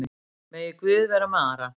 Megi Guð vera með Ara.